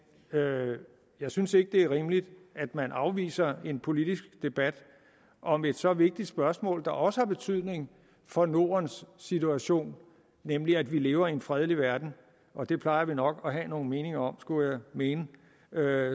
jeg synes ikke det er rimeligt at man afviser en politisk debat om et så vigtigt spørgsmål der også har betydning for nordens situation nemlig at vi lever i en fredelig verden og det plejer vi nok at have nogle meninger om skulle jeg mene